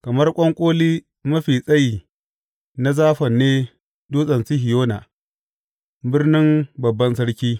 Kamar ƙwanƙoli mafi tsayi na Zafon ne Dutsen Sihiyona, birnin Babban Sarki.